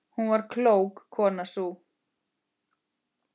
Hún var klók, konan sú.